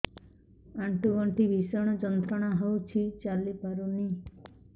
ଆଣ୍ଠୁ ଗଣ୍ଠି ଭିଷଣ ଯନ୍ତ୍ରଣା ହଉଛି ଚାଲି ପାରୁନି